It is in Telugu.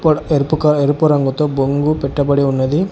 అక్కడ ఎరుపుగా ఎరుపు రంగుతో బొంగు పెట్టబడి ఉన్నది.